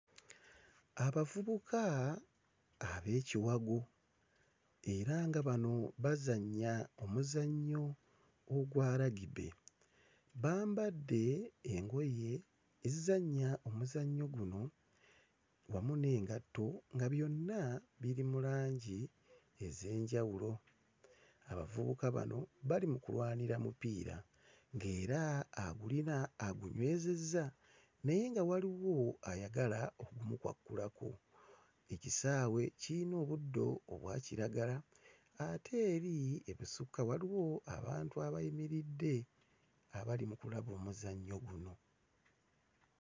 Abavubuka ab'ekiwago era nga bano bazannya omuzannyo ogwa rugby, bambadde engoye ezizannya omuzannyo guno wamu n'engatto nga byonna biri mu langi ez'enjawulo. Abavubuka bano bali mu kulwanira mupiira ng'era agulina agunywezezza naye nga waliwo ayagala okugumukwakkulako. Ekisaawe kiyina obuddo obwa kiragala ate eri ebusukka waliwo abantu abayimiridde abali mu kulaba omuzannyo guno.